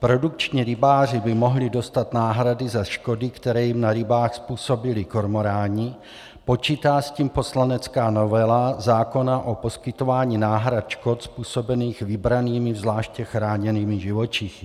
Produkční rybáři by mohli dostat náhrady za škody, které jim na rybách způsobili kormoráni, počítá s tím poslanecká novela zákona o poskytování náhrad škod způsobených vybranými zvláště chráněnými živočichy.